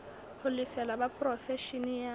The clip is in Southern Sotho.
ho lefela ba porofeshene ya